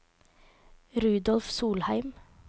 Rudolf Solheim